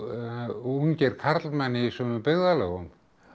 ungir karlmenn í sumum byggðarlögum